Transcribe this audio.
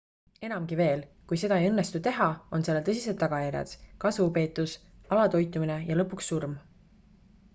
enamgi veel kui seda ei õnnestu teha on sellel tõsised tagajärjed kasvupeetus alatoitumine ja lõpuks surm